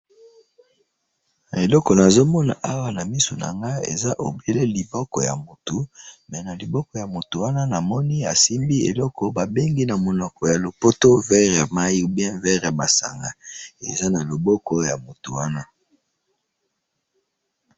eloko nazomona awa na misu nangai, eza on dirait liboko ya mutu, mais na liboko ya mutu wana, namoni asimbi eloko babengi namonoko ya lopoto verre ya mayi, ou bien verre ya masanga, eza na liboko na mutu wana